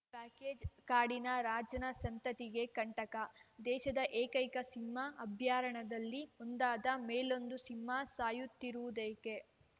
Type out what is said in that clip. package ಕಾಡಿನ ರಾಜನ ಸಂತತಿಗೇ ಕಂಟಕ ದೇಶದ ಏಕೈಕ ಸಿಂಹ ಅಭಯಾರಣ್ಯದಲ್ಲಿ ಒಂದಾದ ಮೇಲೊಂದು ಸಿಂಹ ಸಾಯುತ್ತಿರುವುದೇಕೆ